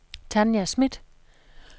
Tanja Smith